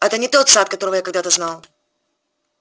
это не тот сатт которого я когда-то знал